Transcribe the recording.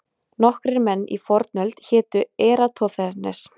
Nokkrir menn í fornöld hétu Eratosþenes.